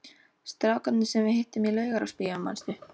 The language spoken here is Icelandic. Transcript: Strákarnir sem við hittum í Laugarásbíói, manstu?